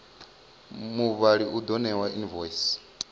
mubadeli u ḓo ṋewa invoice